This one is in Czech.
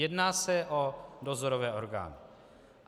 Jedná se o dozorové orgány.